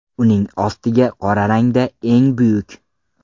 Uning ostiga qora rangda ‘Eng buyuk.